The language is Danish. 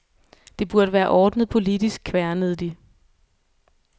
Det burde være ordnet politisk, kværnede de.